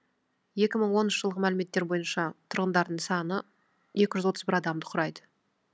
екі мың оныншы жылғы мәліметтер бойынша тұрғындарының саны екі жүз отыз бір адамды құрайды